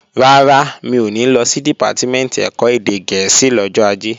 Rárá, mi ò ní lọ sí Dìpátímẹ̀ntì ẹ̀kọ́ èdè gẹ̀ẹ́sì lọ́jọ́ Ajé